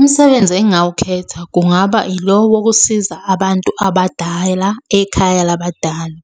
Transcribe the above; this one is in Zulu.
Umsebenzi engingawukhetha kungaba ilo wokusiza abantu abadala ekhaya labadala.